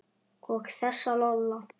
Og þessa Lola.